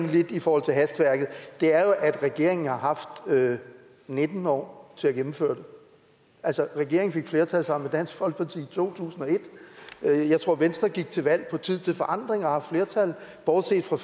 lidt i forhold til hastværket er jo at regeringen har haft nitten år til at gennemføre det altså regeringen fik flertal sammen dansk folkeparti i to tusind og et jeg tror venstre gik til valg på tid til forandring og bortset fra